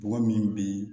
Mɔgɔ min bi